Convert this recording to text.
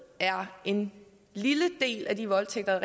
er en lille del af de voldtægter